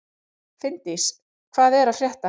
Finndís, hvað er að frétta?